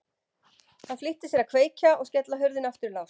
Hann flýtti sér að kveikja og skella hurðinni aftur í lás.